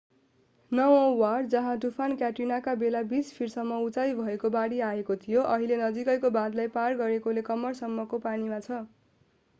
नवौं ward जहाँ तुफान क्याट्रिनाका बेला 20 फिट सम्म उचाई भएको बाढी आएको थियो अहिले नजिकैको बाँधलाई पार गरेकाले कम्मरसम्मको पानीमा छ